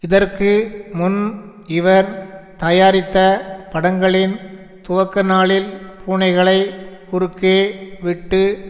இதற்கு முன் இவர் தயாரித்த படங்களின் துவக்கநாளில் பூனைகளை குறுக்கே விட்டு